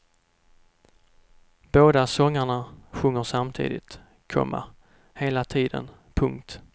Båda sångarna sjunger samtidigt, komma hela tiden. punkt